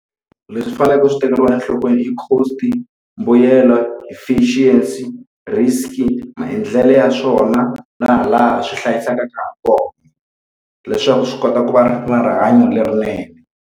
Leswi swi faneleke swi tekeriwa enhlokweni cost-i, mbuyelo, deficiency, risk-i, maendlelo ya swona, na laha swi hlayisakaka ha kona leswaku swi kota ku va na rihanyo lerinene.